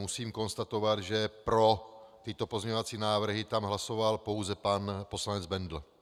Musím konstatovat, že pro tyto pozměňovací návrhy tam hlasoval pouze pan poslanec Bendl.